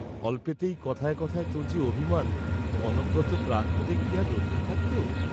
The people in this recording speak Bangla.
"অল্পেতেই কথায় কথায় তোর যে অভিমান, কনকগত প্রাণ হলে কি আর রক্ষা থাকত?"